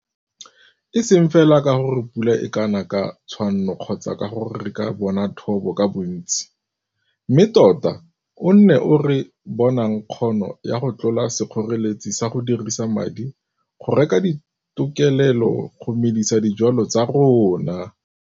E seng fela ka gore pula e ka na ka tshwanno kgotsa ka gore re ka bona thobo ka bontsi, mme tota o nne o re bonang kgono ya go tlola sekgoreletsi sa go dirisa madi go reka ditokelelo go medisa dijwalwa tsa rona.